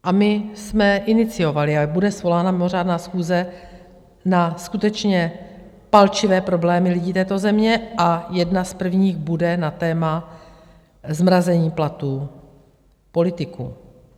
A my jsme iniciovali a bude svolána mimořádná schůze na skutečně palčivé problémy lidí této země a jedna z prvních bude na téma zmrazení platů politiků.